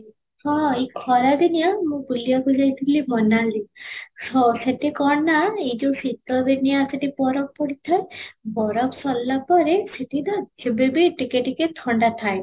ହଁ, ଏଇ ଖରା ଦିନିଆ ମୁଁ ବୁଲୁବାକୁ ଯାଇଥିଲି ମୋନାଲି, ହଁ ସେଠି କ'ଣ ନା ଏଇ ଯଉ ଶୀତ ଦିନିଆ ସେଠି ବରଫ ପଡିଥାଏ, ବରଫ ସରିଲା ପରେ ସେଠି ନା ଏବେ ବି ଟିକେ ଟିକେ ଥଣ୍ଡା ଥାଏ